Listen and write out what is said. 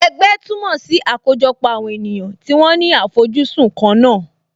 Ẹgbẹ́ túmọ̀ sí àkójọpọ̀ àwọn ènìyàn tí wọ́n ní àfojúsùn kan náà